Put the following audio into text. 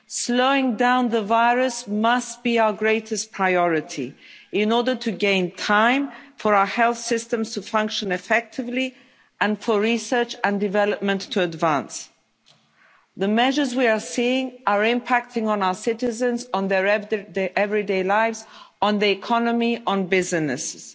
Slowing down the virus must be our greatest priority in order to gain time for our health systems to function effectively, and for research and development to advance. The measures we are seeing are impacting on our citizens, on their everyday lives, on the economy, on businesses.